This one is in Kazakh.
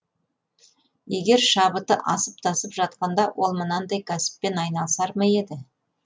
егер шабыты асып тасып жатқанда ол мынандай кәсіппен айналысар ма еді